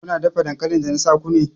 Kuna dafa dankalin da na sa ku ne!